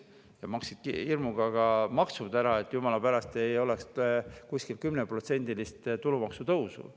Nad maksid hirmuga ka maksud ära, et jumala pärast ei oleks kuskil 10%‑list tulumaksu tõusu.